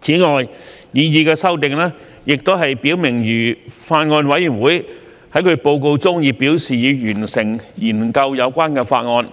此外，擬議修訂亦表明如法案委員會在其報告中表示已完成研究有關法案，